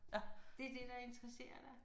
Det er det der interesserer dig?